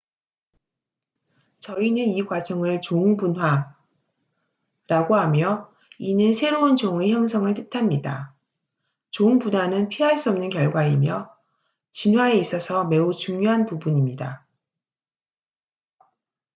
저희는 이 과정을 종 분화speciation라고 하며 이는 새로운 종의 형성을 뜻합니다. 종 분화는 피할 수 없는 결과이며 진화에 있어서 매주 중요한 부분입니다